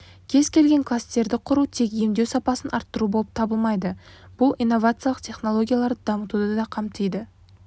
кез келген кластерді құру тек емдеу сапасын арттыру болып табылмайды бұл инновациялық технологияларды дамытуды да қамтиды